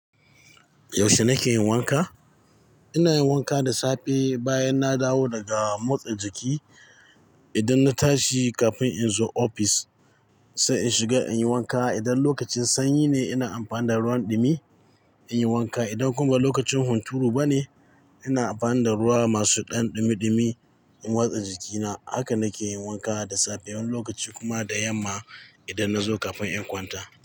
Yaushe na ke yin wanka? Ina yin wanka da safe bayan na dawo daga motsa jiki. Idan na tashi kafin in zo ofis sai in shiga in yi wanka. Idan lokacin sanyi ne ina amfani da ruwan ɗumi in yi wanka. Idan kuma lokacin hunturu ba ne ina amfani da ruwa masu ɗan ɗumi ɗumi in watsa jikina. Haka na ke yin wanka da safiyar lokaci kuma da yamma idan na zo kafin in kwanta.